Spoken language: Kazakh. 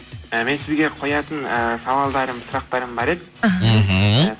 і мен сізге қоятын ыыы сауалдарым сұрақтарым бар еді мхм